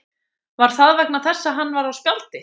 Var það vegna þess að hann var á spjaldi?